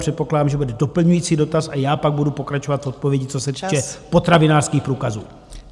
Předpokládám, že bude doplňující dotaz, a já pak budu pokračovat v odpovědi, co se týče potravinářských průkazů.